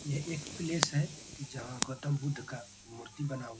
यह एक प्लेस है जहाँ गौतम बुद्ध का मूर्ति बना हुआ है।